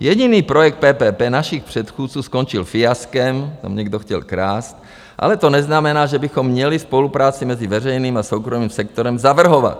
Jediný projekt PPP našich předchůdců skončil fiaskem, tam někdo chtěl krást, ale to neznamená, že bychom měli spolupráci mezi veřejným a soukromým sektorem zavrhovat.